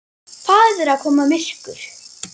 Það er að koma myrkur.